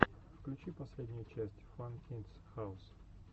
включи последнюю часть фан кидс хаус